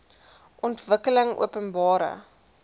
ontwikkelingopenbare